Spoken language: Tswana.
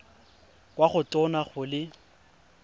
kwa go tona go le